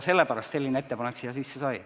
Sellepärast selline ettepanek siia sisse sai.